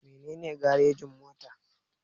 Mene ne garejin-mota?